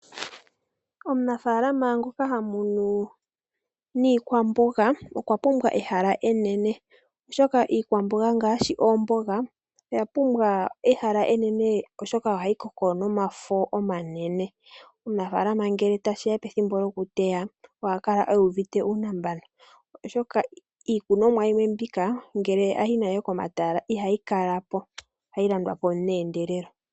Omunafalama ngoka ha munu niikwamboga okwa pumbwa ehala enene, oshoka iikwamboga ngaashi oomboga oya pumbwa ehala enene oshoka ohayi koko nomafo omanene. Omunafalama ngele tashi ya pethimbo lyo ku teya, oha kala a uvite uunambano oshoka iikunomwa yimwe mbika, ngele a yi nayo komatala ihayi kala po. Ohayi landwa po meendelelo.